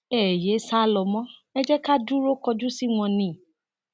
ẹ yéé sá lọ mọ ẹ jẹ ká dúró kojú si wọn ni